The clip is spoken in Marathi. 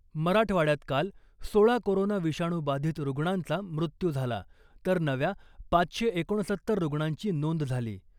मराठवाड्यात काल सोळा कोरोना विषाणू बाधित रुग्णांचा मृत्यू झाला , तर नव्या पाचशे एकोणसत्तर रुग्णांची नोंद झाली .